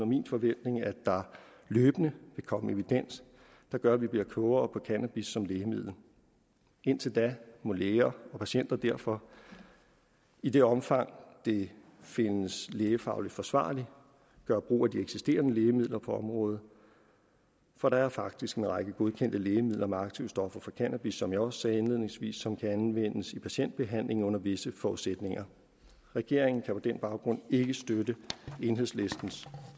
min forventning at der løbende vil komme evidens der gør at vi bliver klogere på cannabis som lægemiddel indtil da må læger og patienter derfor i det omfang det findes lægefagligt forsvarligt gøre brug af de eksisterende lægemidler på området for der er faktisk en række godkendte lægemidler med aktivstoffer for cannabis som jeg også sagde indledningsvis som kan anvendes i patientbehandling under visse forudsætninger regeringen kan på den baggrund ikke støtte enhedslistens